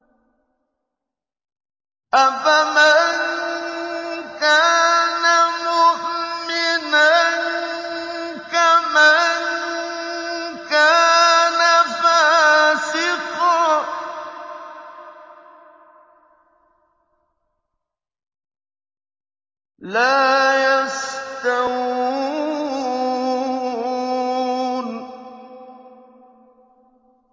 أَفَمَن كَانَ مُؤْمِنًا كَمَن كَانَ فَاسِقًا ۚ لَّا يَسْتَوُونَ